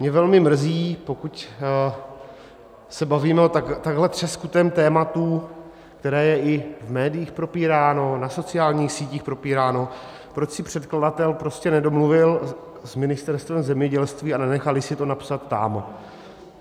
Mě velmi mrzí, pokud se bavíme o takhle třeskutém tématu, které je i v médiích propíráno, na sociálních sítích propíráno, proč se předkladatel prostě nedomluvil s Ministerstvem zemědělství a nenechali si to napsat tam.